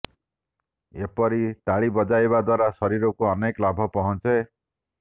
ଏହିପରି ତାଳି ବଜାଇବା ଦ୍ବାରା ଶରୀରକୁ ଅନେକ ଲାଭ ପହଞ୍ଚେ